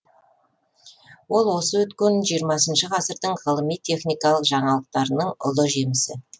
ол осы өткен жиырмасыншы ғасырдың ғылыми техникалық жаңалықтарының ұлы жемісі